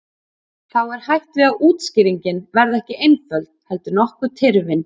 Þá er hætt við að útskýringin verði ekki einföld heldur nokkuð tyrfin.